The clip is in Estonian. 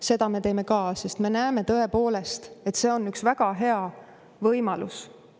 Seda me teeme ka, sest me näeme tõepoolest, et see on üks väga hea võimalus.